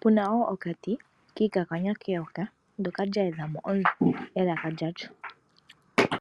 puna wo okamuti kakakanywa keyoka ndyoka lyayedhamo elaka lyalyo.